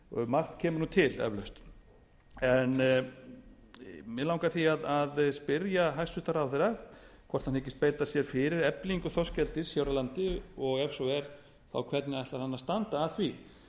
margt kemur til eflaust mig langar því að spyrja hæstvirtan ráðherra hvort hann hyggist beita sér fyrir eflingu þorskeldis hér á landi og ef svo er þá hvernig ætlar hann að standa að því